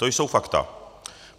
To jsou fakta.